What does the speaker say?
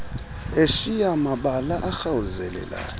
eshiya mabala arhawuzelayo